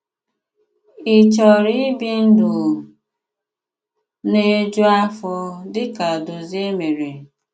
Ị chọ̀rọ̀ íbì ndụ̀ na-ejù àfọ̀, dị ka Dòzìè mèré?